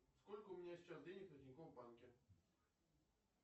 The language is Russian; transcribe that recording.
сколько у меня сейчас денег на тинькофф банке